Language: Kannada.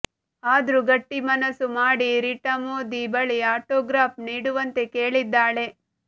ಆದ್ರೂ ಗಟ್ಟಿ ಮನಸ್ಸು ಮಾಡಿ ರಿಟಾ ಮೋದಿ ಬಳಿ ಆಟೋಗ್ರಾಫ್ ನೀಡುವಂತೆ ಕೇಳಿದ್ದಾಳೆ